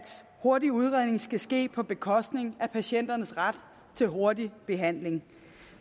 hurtig udredning skal ske på bekostning af patienternes ret til hurtig behandling